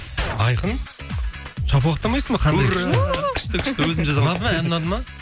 айқын шапалақтамайсың ба қандай күшті ура күшті күшті өзім жазғамын ән ұнады ма